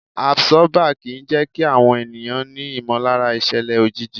Àbsọ́bà kì í jẹ́kí àwọn ènìyàn ní ìmọ̀lára ìṣẹ̀lẹ̀ òjijì.